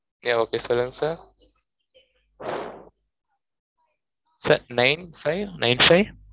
yeah okay சொல்லுங்க sir sir nine five nine five